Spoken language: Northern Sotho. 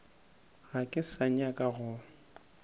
ga ke sa nyaka go